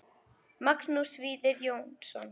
Magnús Víðir Jónsson